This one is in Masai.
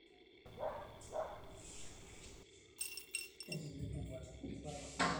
kaata olola laiminie tenewueji esia ,ekidim ake atareto